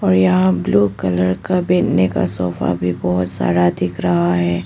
और यहां blue colour का बैठने का सोफा भी बहुत सारा दिख रहा है।